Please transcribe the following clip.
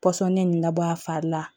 Pɔsɔni nin labɔ a fari la